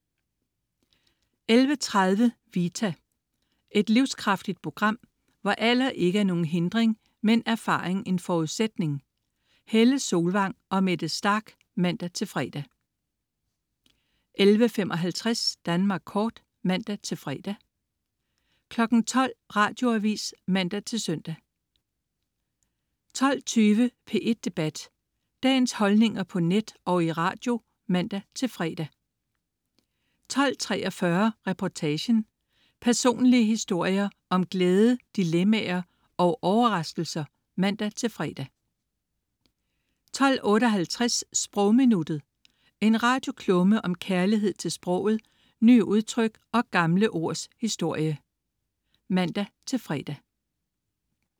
11.30 Vita. Et livskraftigt program, hvor alder ikke er nogen hindring, men erfaring en forudsætning. Helle Solvang og Mette Starch (man-fre) 11.55 Danmark Kort (man-fre) 12.00 Radioavis (man-søn) 12.20 P1 Debat. Dagens holdninger på net og i radio (man-fre) 12.43 Reportagen. Personlige historier om glæde dilemmaer og overraskelser (man-fre) 12.58 Sprogminuttet. En radioklumme om kærlighed til sproget, nye udtryk og gamle ords historie (man-fre)